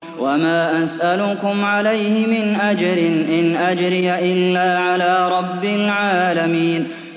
وَمَا أَسْأَلُكُمْ عَلَيْهِ مِنْ أَجْرٍ ۖ إِنْ أَجْرِيَ إِلَّا عَلَىٰ رَبِّ الْعَالَمِينَ